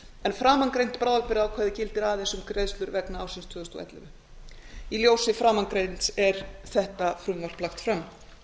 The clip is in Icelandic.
en framangreint bráðabirgðaákvæði gildir aðeins um greiðslur vegna ársins tvö þúsund og ellefu í ljósi framangreinds er þetta frumvarp lagt fram